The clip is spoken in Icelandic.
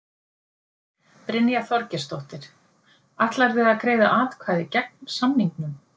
Brynja Þorgeirsdóttir: Ætlarðu að greiða atkvæði gegn samningnum?